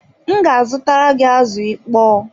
M ga azutara gị azụ ịkpọ